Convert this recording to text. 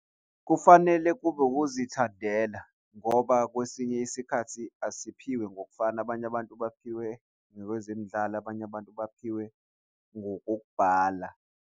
Kufanele kube ukuzithandela ngoba kwesinye isikhathi asiphiwe ngokufana, abanye abantu baphiwe nakwezemidlalo, abanye abantu baphiwe ngokok'bhala.